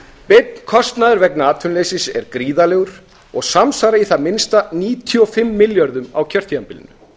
beinn kostnaður vegna atvinnuleysis er gríðarlegur og samsvarar í það minnsta níutíu og fimm milljörðum á kjörtímabilinu